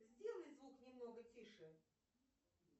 сделай звук немного тише